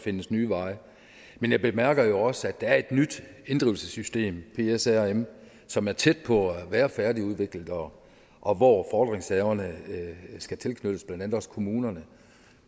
findes nye veje men jeg bemærker jo også at der er et nyt inddrivelsessystem psrm som er tæt på at være færdigudviklet og og hvor fordringshaverne skal tilknyttes blandt andet også kommunerne